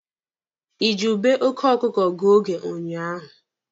Ị ji ube oke ọkụkụ gụọ oge ụnyaahụ?